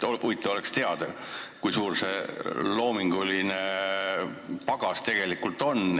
Huvitav oleks teada, kui suur teie loominguline pagas tegelikult on.